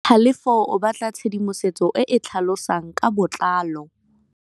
Tlhalefô o batla tshedimosetsô e e tlhalosang ka botlalô.